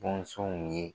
Bɔnsɔnw ye